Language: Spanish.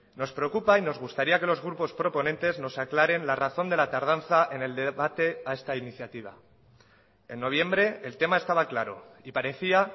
nos preocupa y nos gustaría que los grupos proponentes nos aclaren la razón de la tardanza en el debate a esta iniciativa en noviembre el tema estaba claro y parecía